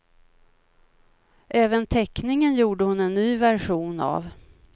Även teckningen gjorde hon en ny version av.